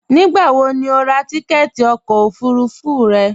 Nígbàwò ní o rà tìkẹ̀tì ọkọ ofurufú rẹ?